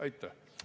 Aitäh!